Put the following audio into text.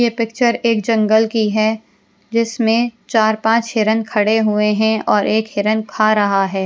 ये पिक्चर एक जंगल की है जिसमें चार-पांच हिरन खड़े हुए हैं और एक हिरन खा रहा है।